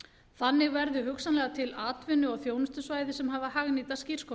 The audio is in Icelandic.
þannig verði hugsanlega til atvinnu og þjónustusvæði sem hafa hagnýta skírskotun